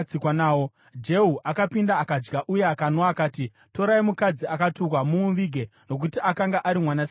Jehu akapinda akadya uye akanwa. Akati, “Torai mukadzi akatukwa, mumuvige, nokuti akanga ari mwanasikana wamambo.”